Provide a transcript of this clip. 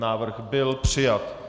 Návrh byl přijat.